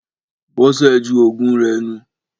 Bọsẹ jù oogun re nu.